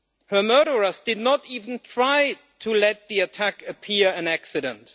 Her murderers did not even try to make the attack appear to be an accident.